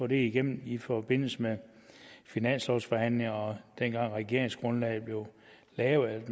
det ikke igennem i forbindelse med finanslovforhandlingerne og dengang hvor regeringsgrundlaget blev lavet